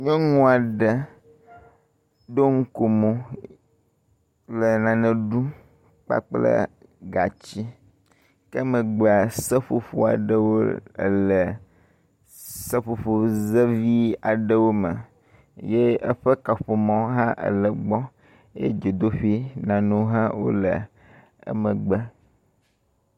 nyɔŋuaɖe ɖo ŋkomo le nane ɖum kple gatsi ke emegbea seƒoƒoaɖewo le seƒoƒo ze vi aɖewo me ye eƒe kaƒomɔ hã ele egbɔ ye dzodoƒi nanewo hã wóle emegbe